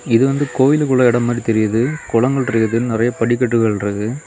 இது வந்து கோயிலுக்குள்ள எடம் மாதிரி தெரியுது குளங்கள் இருக்கு நறைய படிக்கட்டுகள் இருக்கு.